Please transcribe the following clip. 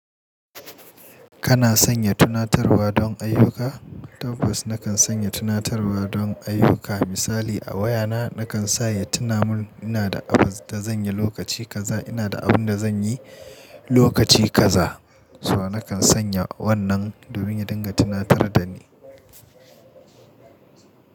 Kana sanya tunatarwa don ayyuka? Tabbas na kan sanya tunatarwa don ayyuka. Misali a wayana na kan sa ya tuna mun ina da abun da zan yi lokaci kaza, ina da abun da zan yi lokaci kaza. So na kan sanya wannan domin ya dinga tuna tar da ni.